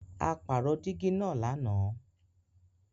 À pàró dígì naá làná.